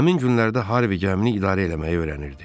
Həmin günlərdə Harvey gəmini idarə eləməyi öyrənirdi.